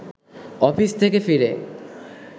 office থেকে ফিরে